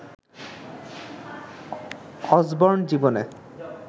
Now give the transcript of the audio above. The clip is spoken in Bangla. অসবর্ন জীবনে